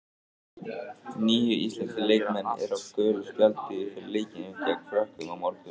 Níu íslenskir leikmenn eru á gulu spjaldi fyrir leikinn gegn Frökkum á morgun.